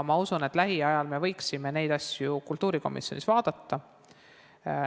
Ma usun, et lähiajal me võiksime neid asju kultuurikomisjonis vaadata.